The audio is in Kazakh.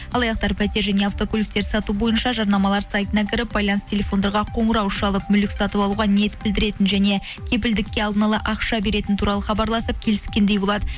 алаяқтар пәтер және автокөліктер сату бойынша жарнамалар сайтына кіріп байланыс телефондарға қоңырау шалып мүлік сатып алуға ниет білдіретіні және кепілдікке алдына ала ақша беретіні туралы хабарласып келіскендей болады